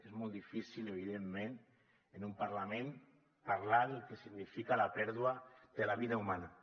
és molt difícil evidentment en un parlament parlar del que significa la pèrdua de la vida humana